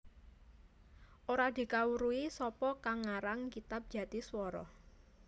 Ora dikawruhi sapa kang ngarang kitab Jatiswara